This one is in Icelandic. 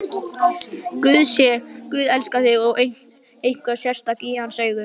Guð elskar þig, þú ert eitthvað sérstakt í hans augum.